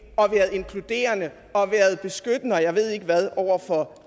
og været inkluderende og været beskyttende og jeg ved ikke hvad over for